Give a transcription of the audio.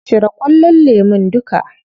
Cire ƙullon lemun duka.